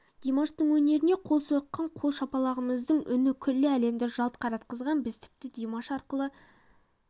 димаштың өнеріне қол соққан қол шапалағымыздың үні күллі әлемді жалт қаратқандай біз тіпті димаш арқылы